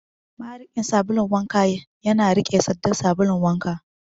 Mariƙin sabulun wanka yana rike sandan sabulun wanka.